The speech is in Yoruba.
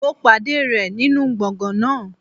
Mo pàdé rẹ̀ nínú gbọ̀ngàn náà.